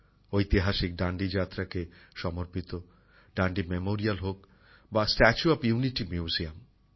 ঐতিহাসিক ডান্ডি যাত্রাকে সমর্পিত ডান্ডি মেমোরিয়াল হোক বা স্ট্যাচু অফ ইউনিটি মিউজিয়াম